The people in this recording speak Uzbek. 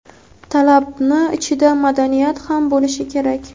talabni ichida madaniyat ham bo‘lishi kerak.